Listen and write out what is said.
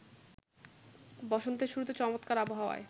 বসন্তের শুরুতে চমৎকার আবহাওয়ায়